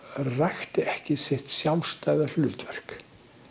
rækti ekki sitt sjálfstæða hlutverk